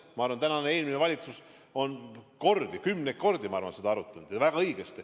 Ma arvan, et tänane ja eelmine valitsus on seda kümneid kordi arutanud ja teinud väga õigesti.